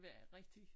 Var rigtig